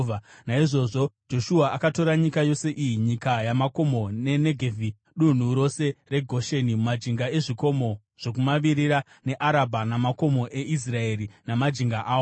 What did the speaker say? Naizvozvo Joshua akatora nyika yose iyi nyika yamakomo, neNegevhi, dunhu rose reGosheni, majinga ezvikomo zvokumavirira, neArabha namakomo eIsraeri namajinga awo,